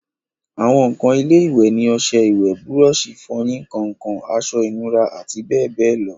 àwọn ǹkan ilé-ìwẹ̀ ni ọsẹ ìwẹ̀, búrọ̀sì ìfọyín, kàǹkàn, aṣọ ìnura àti bẹ́ẹ̀bẹ́ẹ̀ lọ